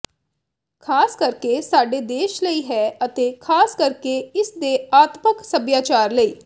ਖ਼ਾਸ ਕਰਕੇ ਸਾਡੇ ਦੇਸ਼ ਲਈ ਹੈ ਅਤੇ ਖਾਸ ਕਰਕੇ ਇਸ ਦੇ ਆਤਮਕ ਸਭਿਆਚਾਰ ਲਈ